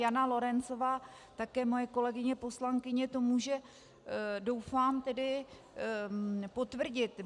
Jana Lorencová, také moje kolegyně poslankyně, to může, doufám tedy, potvrdit.